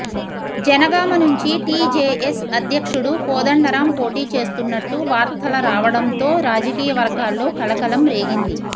జనగామ నుంచి టీజేఎస్ అధ్యక్షుడు కోదండరాం పోటీ చేస్తున్నట్టు వార్తల రావడంతో రాజకీయవర్గాల్లో కలకలం రేగింది